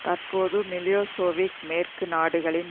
தற்போது மிலோசேவிக் மேற்கு நாடுகளின்